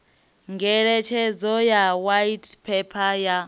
ngeletshedzo ya white paper ya